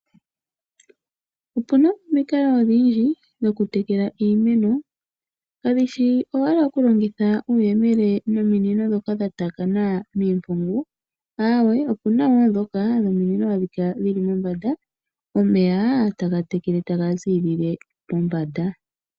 Opuna omikalo odhindji dhokutekela iimeno, kadhi shi owala okulongitha omayemele nominino dhoka dha taakana miimpungu, aawe opena dhoka dhominino hadhi kala dhili mombanda, omeya taga tekele taga ziilile mombanda.